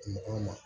Kungo kɔnɔ